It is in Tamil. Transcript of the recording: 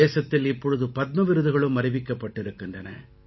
தேசத்தில் இப்பொழுது பத்ம விருதுகளும் அறிவிக்கப்பட்டிருக்கின்றன